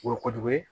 O ye kojugu ye